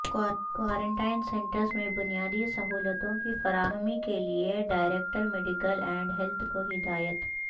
quarantine centres میں بنیادی سہولتوں کی فراہمی کیلئے ڈائرکٹر میڈیکل اینڈ ہیلت کو ہدایت